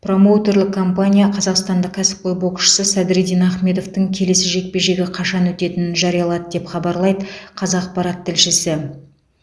промоутерлік компания қазақстандық кәсіпқой боксшы садриддин ахмедовтің келесі жекпе жегі қашан өтетінін жариялады деп хабарлайды қазақпарат тілшісі